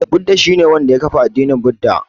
Buda shi ne wanda ya kafa addinin Buda.